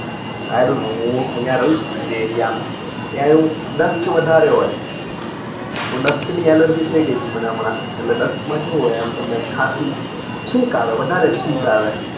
i dont know હું અયીયા રહું છું ને જે એરિયા માં ત્યાં એ ડસત વધારે હોય તો ડસત ની alergy થઇ ગયી હતી હમણાં એટલે દષ્ટ માં કેવું હોય તમને ખાસી ચ્ચીચ આવે વધારે ચ્ચીચ આવે